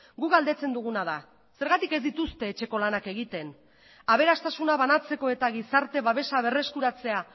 guk galdetzen duguna da zergatik ez dituzte etxeko lanak egiten aberastasuna banatzeko eta gizarte babesa berreskuratzea